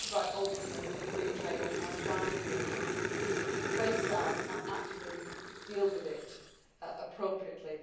The point about openness and free trade and transparency is that you face that and actually deal with it appropriately.